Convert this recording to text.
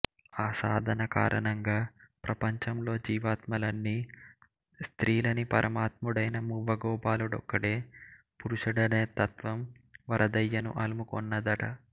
ఆ సాధన కారణంగా ప్రపంచములోని జీవాత్మలన్నీ స్త్రీలని పరమాత్ముడయిన మువ్వగోపాలుడొక్కడే పురుషుడనే తత్వం వరదయ్యను అలుముకొన్నదట